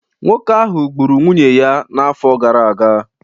Nwoke ahụ gburu nwunye ya n'afọ gara aga